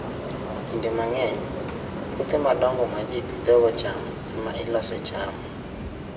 Kinde mang'eny, puothe madongo ma ji pidhogo cham ema ilosoe cham.